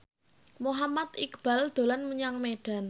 Muhammad Iqbal dolan menyang Medan